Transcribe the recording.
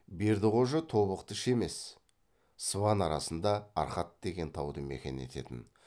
бердіқожа тобықты іші емес сыбан арасында арқат деген тауды мекен ететін